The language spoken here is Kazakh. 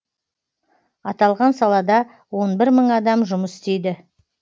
аталған салада он бір мың адам жұмыс істейді